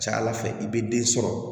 Ca ala fɛ i bɛ den sɔrɔ